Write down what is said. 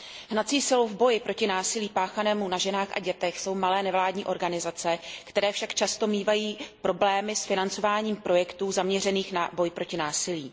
Hnací silou v boji proti násilí páchanému na ženách a dětech jsou malé nevládní organizace, které však často mívají problémy s financováním projektů zaměřených na boj proti násilí.